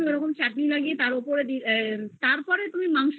উপর এ তুমি চাটনি লাগিয়ে দিলে তারপরে তুমি মাংস